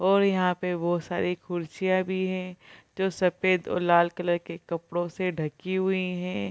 और यहाँ पे बहुत सारी कुर्सियाँ भी हैं जो सफ़ेद और लाल कलर के कपड़ों से ढकी हुई हैं।